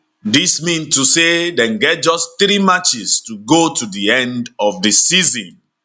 dis mean to say dem get just 3 matches to go to di end of di season